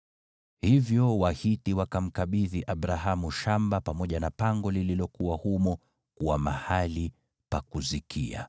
Hivyo Wahiti wakamkabidhi Abrahamu shamba pamoja na pango lililokuwa humo kuwa mahali pa kuzikia.